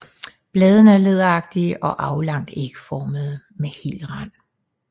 Bladene er læderagtige og aflangt ægformede med hel rand